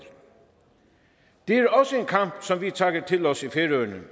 det er også en kamp som vi tager til os i færøerne